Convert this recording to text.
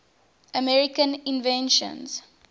american inventions